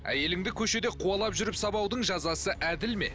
әйеліңді көшеде қуалап жүріп сабаудың жазасы әділ ме